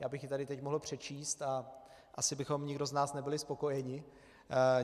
Já bych ji tady teď mohl přečíst a asi bychom nikdo z nás nebyli spokojeni.